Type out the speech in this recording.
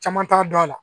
Caman t'a dɔn a la